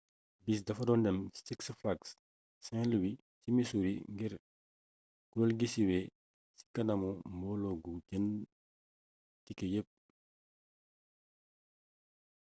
bis dafa doon dem six flags st louis ci missouri ngir kureel gi suwe ci kanamu mbooloo gu jënd tike yepp